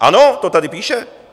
Ano, to tady píše!